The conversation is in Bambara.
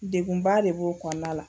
Degkunba de b'o kɔnɔna la